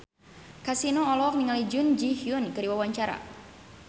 Kasino olohok ningali Jun Ji Hyun keur diwawancara